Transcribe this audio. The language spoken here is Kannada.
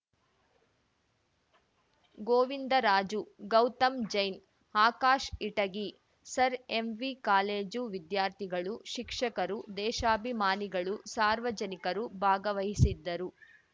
Govindaraju Gautam Jain Akash Itagi sir MV college ವಿದ್ಯಾರ್ಥಿಗಳು ಶಿಕ್ಷಕರು ದೇಶಾಭಿಮಾನಿಗಳು ಸಾರ್ವಜನಿಕರು ಭಾಗವಹಿಸಿದ್ದರು